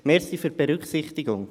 Danke für die Berücksichtigung.